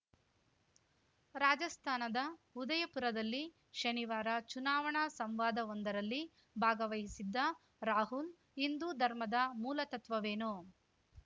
ರಾಜಸ್ಥಾನದ ಉದಯಪುರದಲ್ಲಿ ಶನಿವಾರ ಚುನಾವಣಾ ಸಂವಾದವೊಂದರಲ್ಲಿ ಭಾಗವಹಿಸಿದ್ದ ರಾಹುಲ್‌ ಹಿಂದೂ ಧರ್ಮದ ಮೂಲತತ್ವವೇನು